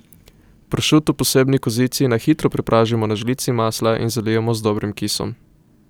Pršut v posebni kozici na hitro prepražimo na žlici masla in zalijemo z dobrim kisom.